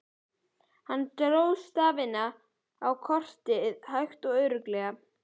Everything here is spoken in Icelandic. Hann dró stafina á kortið hægt og örugglega.